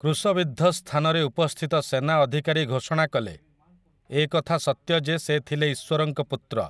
କ୍ରୁଶବିଦ୍ଧ ସ୍ଥାନରେ ଉପସ୍ଥିତ ସେନା ଅଧିକାରୀ ଘୋଷଣା କଲେ, 'ଏ କଥା ସତ୍ୟ ଯେ ସେ ଥିଲେ ଈଶ୍ୱରଙ୍କ ପୁତ୍ର'!